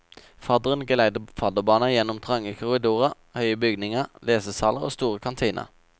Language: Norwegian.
Fadderen geleider fadderbarna gjennom trange korridorer, høye bygninger, lesesaler og store kantiner.